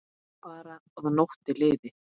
Bara að nóttin liði.